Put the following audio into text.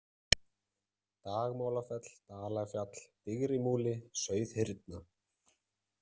Dagmálafell, Dalafjall, Digrimúli, Sauðhyrna